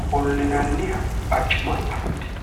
ofollinanniha barcuma afidhino